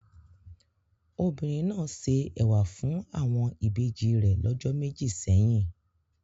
Obìnrin náà se ẹ̀wà fún àwọn ìbejì rẹ̀ lọ́jọ́ méjì sẹ́yìn.